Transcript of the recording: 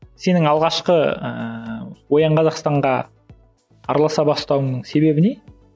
сенің алғашқы ыыы оян қазақстанға араласа бастауыңның себебі не